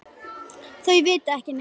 Þau vita ekki neitt.